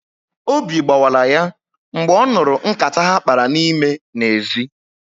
Obi gbawala ya mgbe ọ nụrụ nkata ha kpara n'ime n'ezi